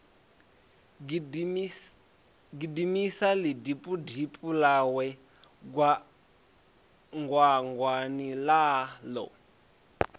gidimisa ḽitibutibu ḽawe gwangwangwani ḽaḽo